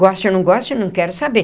Goste ou não goste, não quero saber.